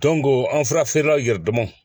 an furafeerelaw yɛrɛ dama